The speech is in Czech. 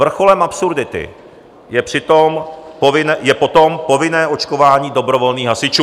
Vrcholem absurdity je potom povinné očkování dobrovolných hasičů.